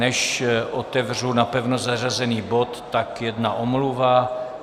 Než otevřu napevno zařazený bod, tak jedna omluva.